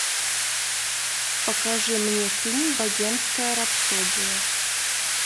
покажи мне фильм богемская рапсодия